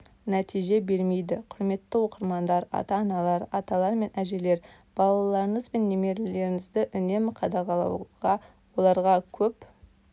нәтиже бермейді құрметті оқырмандар ата-аналар аталар мен әжелер балаларыңыз бен немерелеріңізді үнемі қадағалауға оларға көп